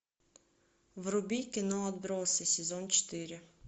вруби кино отбросы сезон четыре